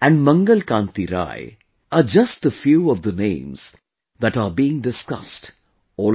and Mangal Kanti Rai are just a few of the names that are being discussed all around